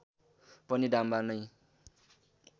पनि डाम्बा नै